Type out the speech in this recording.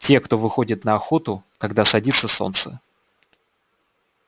те кто выходит на охоту когда садится солнце